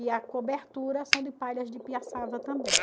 E a cobertura são de palhas de piaçava também.